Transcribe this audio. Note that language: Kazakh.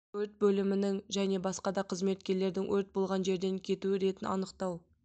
өрт бөлімінің және басқа да қызметкерлердің өрт болған жерден кету ретін анықтау